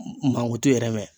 Mankutu yɛrɛ mɛn